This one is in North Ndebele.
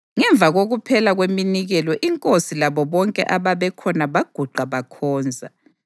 Ngemva kokuphela kweminikelo inkosi labo bonke ababekhona baguqa bakhonza.